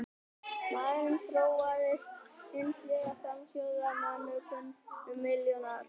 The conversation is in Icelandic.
Maðurinn þróaðist hins vegar samhliða mannöpum um milljónir ára.